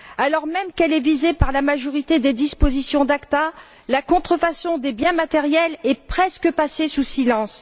Alors même qu'elle est visée par la majorité des dispositions de l'ACTA, la contrefaçon des biens matériels est presque passée sous silence.